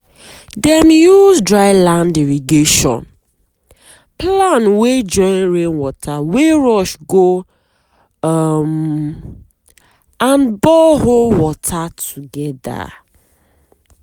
dem use dry land irrigation plan wey join rain water wey rush go um and borehole water together.